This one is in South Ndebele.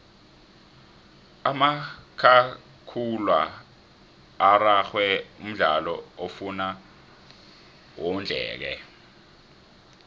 umakhakhula araxhwe mdlalo ofuna wondleke